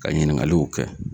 Ka ɲiningaluw kɛ